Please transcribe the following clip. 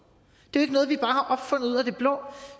det er jo ikke noget vi bare har opfundet ud af det blå